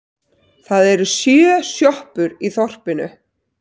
Það eru sjö sjoppur í þorpinu!